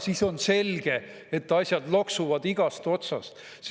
Siis on selge, et asjad loksuvad igast otsast.